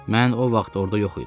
Mən o vaxt orada yox idim.